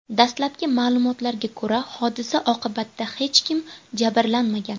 Dastlabki ma’lumotlarga ko‘ra, hodisa oqibatida hech kim jabrlanmagan.